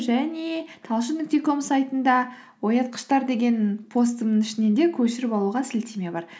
және талшын нүкте ком сайтында оятқыштар деген постымның ішінен де көшіріп алуға сілтеме бар